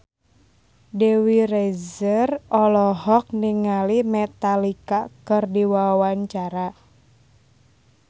Dewi Rezer olohok ningali Metallica keur diwawancara